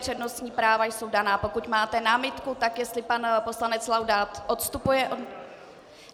Přednostní práva jsou daná, pokud máte námitku, tak jestli pan poslanec Laudát odstupuje...